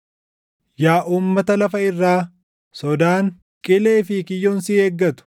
Yaa uummata lafa irraa, sodaan, qilee fi kiyyoon si eeggatu.